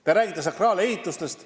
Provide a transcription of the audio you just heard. Te rääkisite sakraalehitistest.